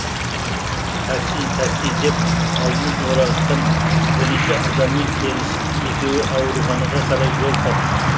такси такси деп алдын орағытқан бірінші адаммен келісіп екеуі ауруханаға қарай жол тартты